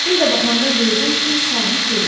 Bir də baxanda gördüm ki, sahil görünmür.